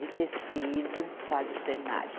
De tecido, faz o cenário.